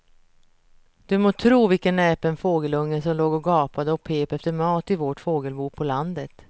Du må tro vilken näpen fågelunge som låg och gapade och pep efter mat i vårt fågelbo på landet.